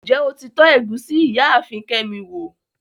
Njẹ́ o ti tọ̀ égusi Ìyaafin Kemi wo?